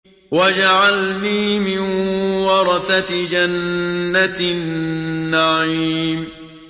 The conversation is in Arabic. وَاجْعَلْنِي مِن وَرَثَةِ جَنَّةِ النَّعِيمِ